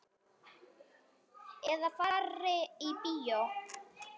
Eða fari í bíó.